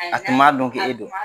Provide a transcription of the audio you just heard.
A tun ma don k' e don